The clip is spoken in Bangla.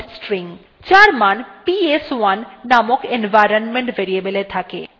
এটি হল primary prompt string যার মান ps1 নামক environment variableএ থাকে